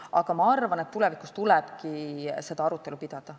Aga ma arvan, et tulevikus tuleb seda arutelu pidada.